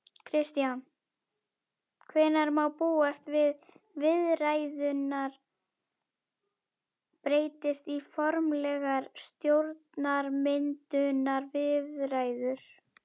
Kristján: Hvenær má búast við viðræðurnar breytist í formlegar stjórnarmyndunarviðræður?